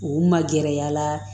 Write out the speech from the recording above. U ma gɛrɛ a la